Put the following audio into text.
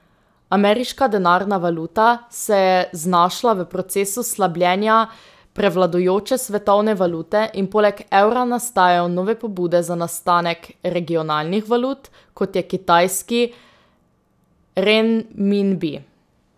Ameriška denarna valuta se je znašla v procesu slabljenja prevladujoče svetovne valute in poleg evra nastajajo nove pobude za nastanek regionalnih valut, kot je kitajski renminbi.